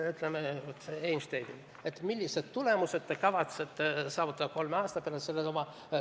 Kas me küsime Einsteinilt, millised tulemused te kavatsete saavutada kolme aasta pärast?